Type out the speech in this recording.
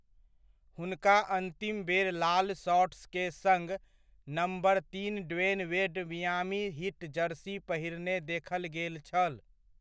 हुनका अन्तिम बेर लाल शॉर्ट्स के सङ्ग नम्बर तीन Dwyane Wade Miami Heat jersey पहिरने देखल गेल छल।